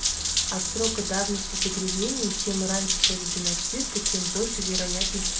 от срока давности загрязнения чем раньше проведена стиркой тем больше вероятность